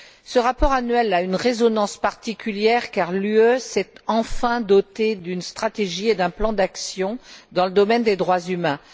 Ce rapport annuel a une résonance particulière car l'UE s'est enfin dotée d'une stratégie et d'un plan d'action dans le domaine des droits humains.